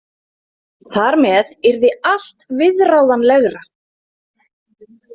Þar með yrði allt viðráðanlegra.